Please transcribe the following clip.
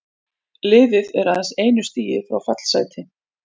Liðið er aðeins einu stigi frá fallsæti.